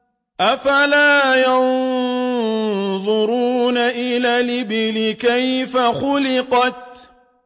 أَفَلَا يَنظُرُونَ إِلَى الْإِبِلِ كَيْفَ خُلِقَتْ